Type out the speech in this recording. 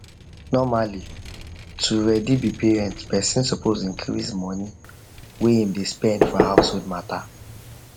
normally to ready be parent person suppose increase money whey him dey spend for household mata